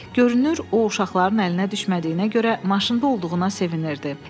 Görünür o uşaqların əlinə düşmədiyinə görə maşında olduğuna sevinirdi.